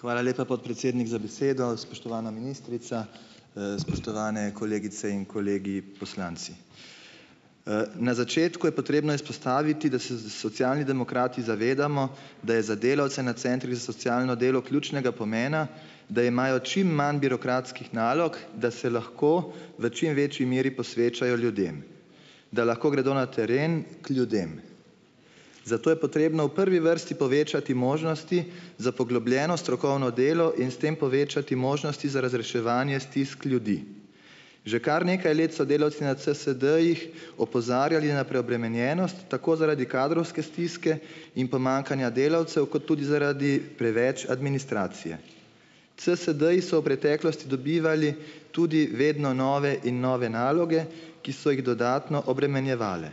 Hvala lepa, podpredsednik, za besedo. Spoštovana ministrica, spoštovane kolegice in kolegi poslanci! Na začetku je potrebno izpostaviti, da se s Socialni demokrati zavedamo, da je za delavce na centrih za socialno delo ključnega pomena, da imajo čim manj birokratskih nalog, da se lahko v čim večji meri posvečajo ljudem, da lahko gredo na teren k ljudem. Za to je potrebno v prvi vrsti povečati možnosti za poglobljeno strokovno delo in s tem povečati možnosti za razreševanje stisk ljudi. Že kar nekaj let so delavci na CSD-jih opozarjali na preobremenjenost tako zaradi kadrovske stiske in pomanjkanja delavcev kot tudi zaradi preveč administracije. CSD-ji so v preteklosti dobivali tudi vedno nove in nove naloge, ki so jih dodatno obremenjevale.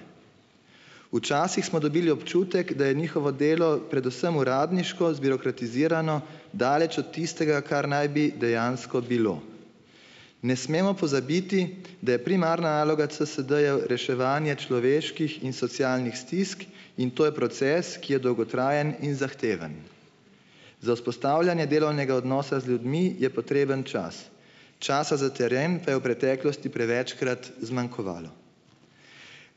Včasih smo dobili občutek, da je njihovo delo predvsem uradniško, zbirokratizirano, daleč od tistega, kar naj bi dejansko bilo. Ne smemo pozabiti, da je primarna naloga CSD-jev reševanje človeških in socialnih stisk, in to je proces, ki je dolgotrajen in zahteven. Za vzpostavljanje delovnega odnosa z ljudmi je potreben čas, časa za teren pa je v preteklosti prevečkrat zmanjkovalo.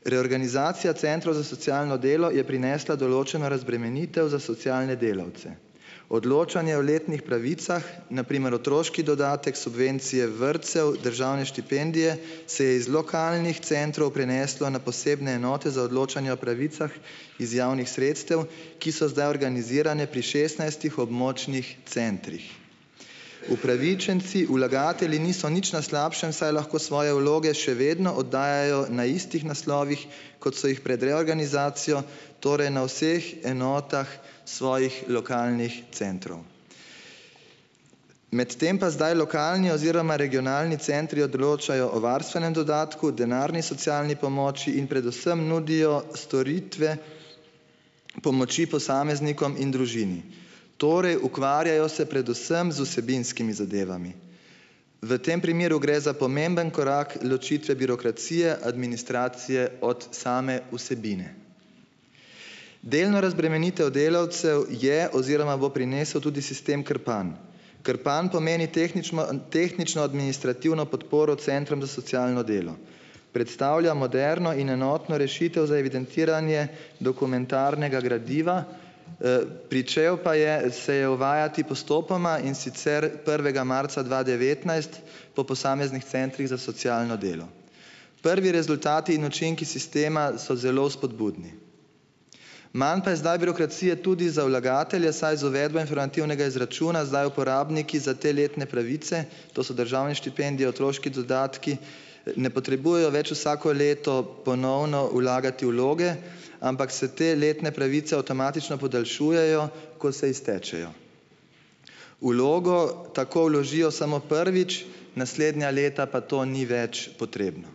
Reorganizacija centrov za socialno delo je prinesla določeno razbremenitev za socialne delavce. Odločanje o letnih pravicah, na primer otroški dodatek, subvencije vrtcev, državne štipendije, se je iz lokalnih centrov preneslo na posebne enote za odločanje o pravicah iz javnih sredstev, ki so zdaj organizirane pri šestnajstih območnih centrih. Upravičenci, vlagatelji niso nič na slabšem, saj lahko svoje vloge še vedno oddajajo na istih naslovih, kot so jih pred reorganizacijo, torej na vseh enotah svojih lokalnih centrov. Medtem pa zdaj lokalni oziroma regionalni centri odločajo o varstvenem dodatku, denarni socialni pomoči in predvsem nudijo storitve pomoči posameznikom in družini. Torej, ukvarjajo se predvsem z vsebinskimi zadevami. V tem primeru gre za pomemben korak ločitve birokracije, administracije, od same vsebine. Delno razbremenitev delavcev je oziroma bo prinesel tudi sistem Krpan. Krpan pomeni tehnično tehnično-administrativno podporo Centrom za socialno delo. Predstavlja moderno in enotno rešitev za evidentiranje dokumentarnega gradiva, pričel pa je se je uvajati postopoma, in sicer prvega marca dva devetnajst, po posameznih Centrih za socialno delo. Prvi rezultati in učinki sistema so zelo spodbudni. Manj pa je zdaj birokracije tudi za vlagatelje, saj z uvedbo informativnega izračuna zdaj uporabniki za te letne pravice, to so državne štipendije, otroški dodatki ne potrebujejo več vsako leto ponovno vlagati vloge, ampak se te letne pravice avtomatično podaljšujejo, ko se iztečejo. Vlogo tako vložijo samo prvič, naslednja leta pa to ni več potrebno.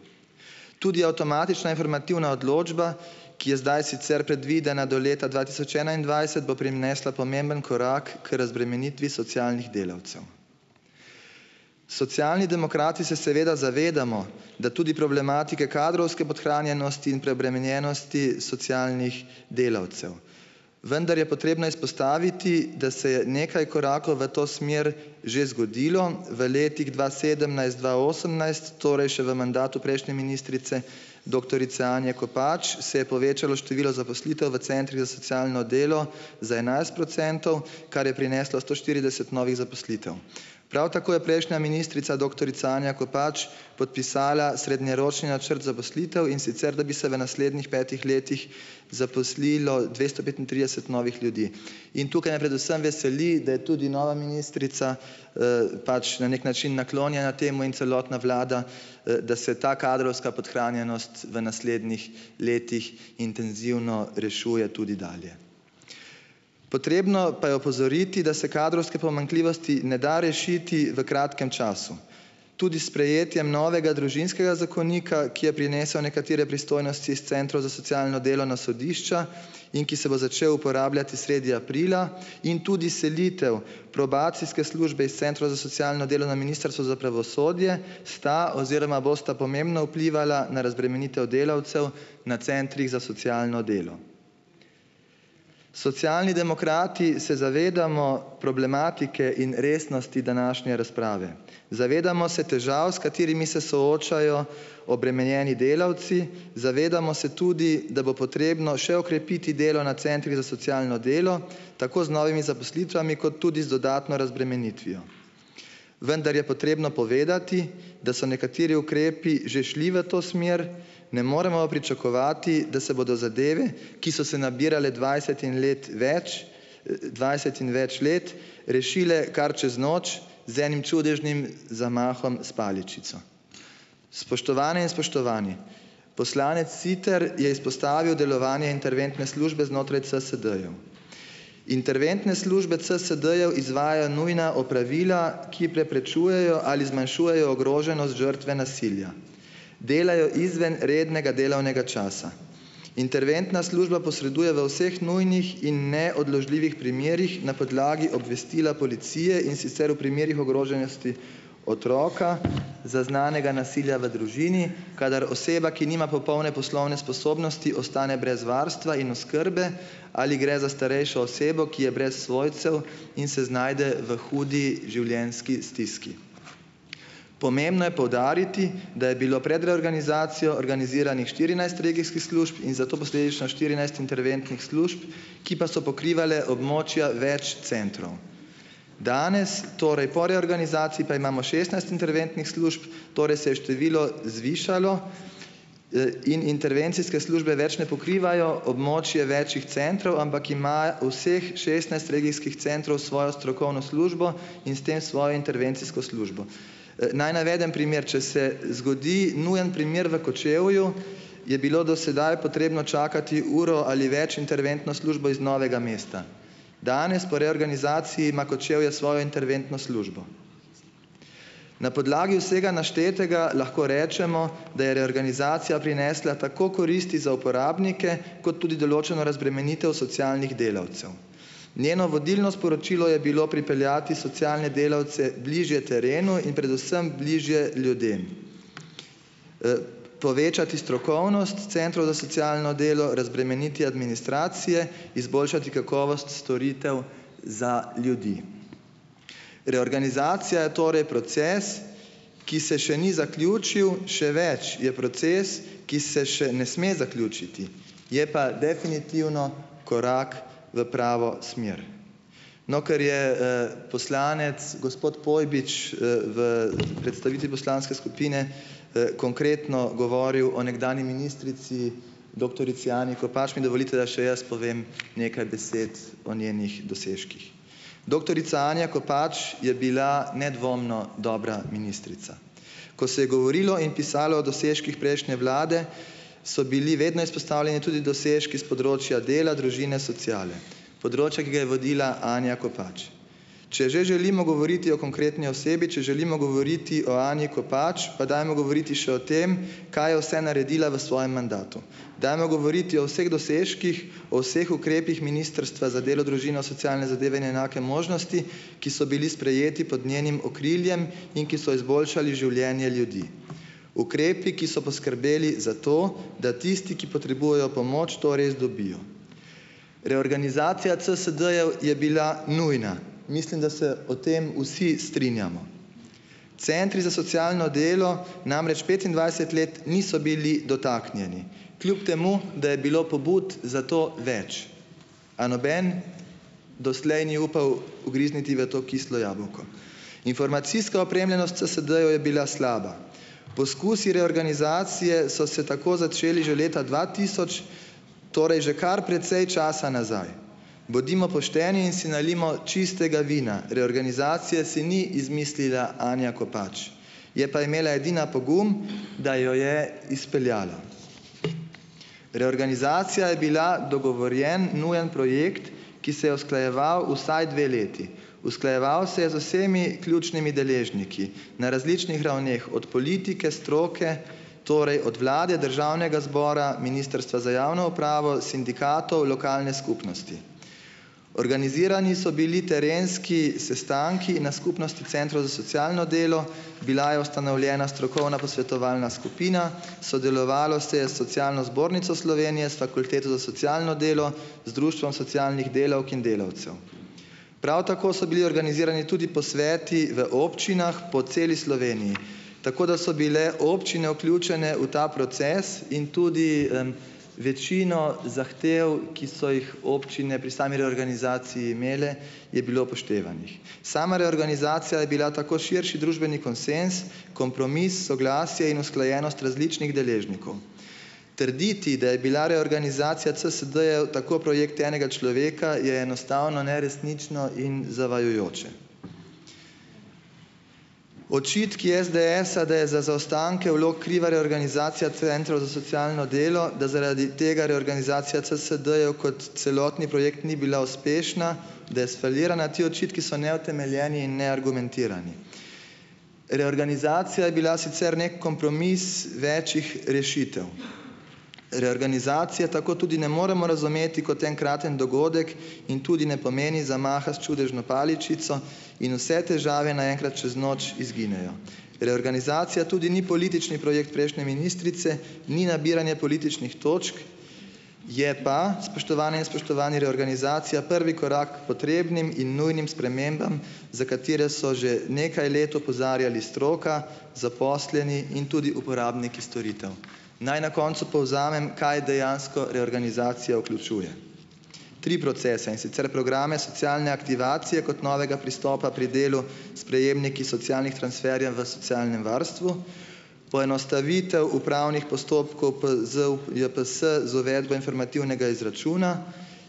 Tudi avtomatična informativna odločba, ki je zdaj sicer predvidena do leta dva tisoč enaindvajset, bo prinesla pomemben korak k razbremenitvi socialnih delavcev. Socialni demokrati se seveda zavedamo, da tudi problematike kadrovske podhranjenosti in preobremenjenosti socialnih delavcev, vendar je potrebno izpostaviti, da se je nekaj korakov v to smer že zgodilo, v letih dva sedemnajst, dva osemnajst, torej še v mandatu prejšnje ministrice, doktorice Anje Kopač, se je povečalo število zaposlitev v Centrih za socialno delo za enajst procentov, kar je prineslo sto štirideset novih zaposlitev. Prav tako je prejšnja ministrica, doktorica Anja Kopač, podpisala srednjeročni načrt zaposlitev, in sicer da bi se v naslednjih petih letih zaposlilo dvesto petintrideset novih ljudi, in tukaj me predvsem veseli, da je tudi nova ministrica pač na nek način naklonjena temu in celotna vlada, da se ta kadrovska podhranjenost v naslednjih letih intenzivno rešuje tudi dalje. Potrebno pa je opozoriti, da se kadrovske pomanjkljivosti ne da rešiti v kratkem času. Tudi s sprejetjem novega družinskega zakonika, ki je prinesel nekatere pristojnosti iz Centrov za socialno delo na sodišča in ki se bo začel uporabljati sredi aprila, in tudi selitev probacijske službe iz Centrov za socialno delo na Ministrstvo za pravosodje sta oziroma bosta pomembno vplivala na razbremenitev delavcev na Centrih za socialno delo. Socialni demokrati se zavedamo problematike in resnosti današnje razprave. Zavedamo se težav, s katerimi se soočajo obremenjeni delavci, zavedamo se tudi, da bo potrebno še okrepiti delo na Centrih za socialno delo, tako z novimi zaposlitvami kot tudi z dodatno razbremenitvijo, vendar je potrebno povedati, da so nekateri ukrepi že šli v to smer, ne moremo pa pričakovati, da se bodo zadeve, ki so se nabirale dvajset in let več, dvajset in več let, rešile kar čez noč, z enim čudežnim zamahom s paličico. Spoštovane in spoštovani, poslanec Siter je izpostavil delovanje interventne službe znotraj CSD-jev. Interventne službe CSD-jev izvajajo nujna opravila, ki preprečujejo ali zmanjšujejo ogroženost žrtve nasilja. Delajo izven rednega delovnega časa. Interventna služba posreduje v vseh nujnih in neodložljivih primerih na podlagi obvestila policije, in sicer v primerih ogroženosti otroka, zaznanega nasilja v družini, kadar oseba, ki nima popolne poslovne sposobnosti, ostane brez varstva in oskrbe ali gre za starejšo osebo, ki je brez svojcev in se znajde v hudi življenjski stiski. Pomembno je poudariti, da je bilo pred reorganizacijo organiziranih štirinajst regijskih služb, in zato posledično štirinajst interventnih služb, ki pa so pokrivale območja več centrov. Danes, torej po reorganizaciji, pa imamo šestnajst interventnih služb, torej se je število zvišalo in intervencijske službe več ne pokrivajo območje več centrov, ampak ima vseh šestnajst regijskih centrov svojo strokovno službo in s tem svojo intervencijsko službo. Naj navedem primer, če se zgodi nujen primer v Kočevju, je bilo do sedaj potrebno čakati uro ali več interventno službo iz Novega mesta. Danes po reorganizaciji ima Kočevje svojo interventno službo. Na podlagi vsega naštetega lahko rečemo, da je reorganizacija prinesla tako koristi za uporabnike kot tudi določeno razbremenitev socialnih delavcev. Njeno vodilno sporočilo je bilo pripeljati socialne delavce bližje terenu in predvsem bližje ljudem, povečati strokovnost Centrov za socialno delo, razbremeniti administracije, izboljšati kakovost storitev za ljudi. Reorganizacija je torej proces, ki se še ni zaključil, še več, je proces, ki se še ne sme zaključiti, je pa definitivno korak v pravo smer. No, ker je poslanec, gospod Pojbič, v predstavitvi poslanske skupine konkretno govoril o nekdanji ministrici, doktorici Anji Kopač, mi dovolite, da še jaz povem nekaj besed o njenih dosežkih. Doktorica Anja Kopač je bila nedvomno dobra ministrica. Ko se je govorilo in pisalo o dosežkih prejšnje vlade, so bili vedno izpostavljeni tudi dosežki s področja dela, družine, sociale. Področja, ki ga je vodila Anja Kopač. Če že želimo govoriti o konkretni osebi, če želimo govoriti o Anji Kopač, pa dajmo govoriti še o tem, kaj je vse naredila v svojem mandatu. Dajmo govoriti o vseh dosežkih, o vseh ukrepih Ministrstva za delo, družino, socialne zadeve in enake možnosti, ki so bili sprejeti pod njenim okriljem in ki so izboljšali življenje ljudi. Ukrepi, ki so poskrbeli za to, da tisti, ki potrebujejo pomoč, to res dobijo. Reorganizacija CSD-jev je bila nujna. Mislim, da se o tem vsi strinjamo. Centri za socialno delo namreč petindvajset let niso bili dotaknjeni, kljub temu da je bilo pobud zato več, a noben doslej ni upal ugrizniti v to kislo jabolko. Informacijska opremljenost CSD-jev je bila slaba. Poskusi reorganizacije so se tako začeli že leta dva tisoč, torej že kar precej časa nazaj. Bodimo pošteni in si nalijmo čistega vina - reorganizacije si ni izmislila Anja Kopač, je pa imela edina pogum, da jo je izpeljala. Reorganizacija je bila dogovorjeno nujen projekt, ki se je usklajeval vsaj dve leti. Usklajeval se je z vsemi ključnimi deležniki na različnih ravneh, od politike, stroke, torej od vlade, Državnega zbora, Ministrstva za javno upravo, sindikatov, lokalne skupnosti. Organizirani so bili terenski sestanki na skupnosti Centrov za socialno delo, bila je ustanovljena strokovna posvetovalna skupina, sodelovalo se je s Socialno zbornico Slovenije, s Fakulteto za socialno delo, z Društvom socialnih delavk in delavcev. Prav tako so bili organizirani tudi posveti v občinah po celi Sloveniji, tako da so bile občine vključene v ta proces, in tudi večino zahtev, ki so jih občine pri sami reorganizaciji imele, je bilo upoštevanih. Sama reorganizacija je bila tako širši družbeni konsenz, kompromis, soglasje in usklajenost različnih deležnikov. Trditi, da je bila reorganizacija CSD-jev tako projekt enega človeka je enostavno neresnično in zavajajoče. Očitki SDS-a, da je za zaostanke vlog kriva reorganizacija Centrov za socialno delo, da zaradi tega reorganizacija CSD-jev kot celotni projekt ni bila uspešna, da je sfalirana, ti očitki so neutemeljeni in neargumentirani. Reorganizacija je bila sicer nek kompromis več rešitev. Reorganizacije tako tudi ne moremo razumeti kot enkraten dogodek in tudi ne pomeni zamaha s čudežno paličico in vse težave naenkrat čez noč izginejo. Reorganizacija tudi ni politični projekt prejšnje ministrice, ni nabiranje političnih točk, je pa, spoštovane in spoštovani, reorganizacija prvi korak potrebnim in nujnim spremembam, za katere so že nekaj let opozarjali stroka, zaposleni in tudi uporabniki storitev. Naj na koncu povzamem, kaj dejansko reorganizacija vključuje, tri procese, in sicer: programe socialne aktivacije kot novega pristopa pri delu s prejemniki socialnih transferjev v socialnem varstvu. Poenostavitev upravnih postopkov ZUJPS z uvedbo informativnega izračuna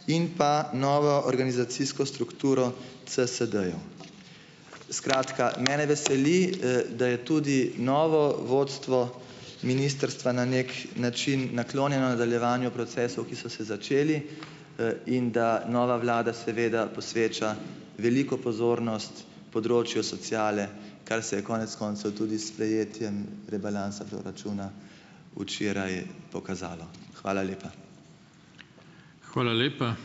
in pa novo organizacijsko strukturo CSD-jev. Skratka, mene veseli, da je tudi novo vodstvo ministrstva na nek način naklonjeno nadaljevanju procesov, ki so se začeli, in da nova vlada seveda posveča veliko pozornost področju sociale, kar se je konec koncev tudi s sprejetjem rebalansa proračuna včeraj pokazalo. Hvala lepa.